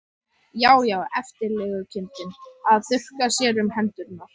Já, já, eftirlegukindin að þurrka sér um hendurnar!